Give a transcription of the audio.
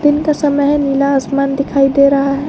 दिन का समय है नीला आसमान दिखाई दे रहा है।